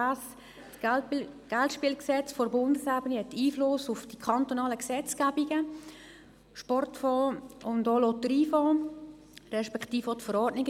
Das Bundesgesetz über Geldspiele (Geldspielgesetz, BSG) hat einen Einfluss auf die kantonalen Gesetzgebungen, den Sportfonds, den Lotteriefonds, respektive auch die jeweiligen Verordnungen.